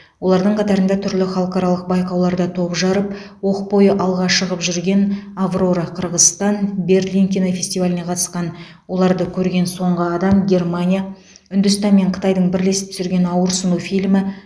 олардың қатарында түрлі халықаралық байқауларда топ жарып оқ бойы алға шығып жүрген аврора қырғызстан берлин кинофестиваліне қатысқан оларды көрген соңғы адам германия үндістан мен қытайдың бірлесіп түсірген ауырсыну фильмі